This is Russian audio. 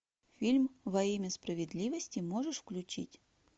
фильм во имя справедливости можешь включить